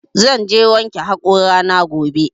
Zan je wanke haƙora na gobe